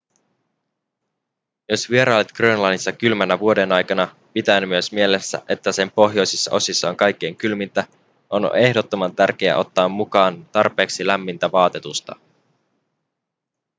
jos vierailet grönlannissa kylmänä vuodenaikana pitäen myös mielessä että sen pohjoisissa osissa on kaikkein kylmintä on ehdottoman tärkeää ottaa mukaan tarpeeksi lämmintä vaatetusta